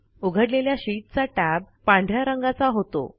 उघडलेल्या शीटचा टॅब पांढ या रंगाचा होतो